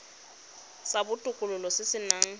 sa botokololo se se nang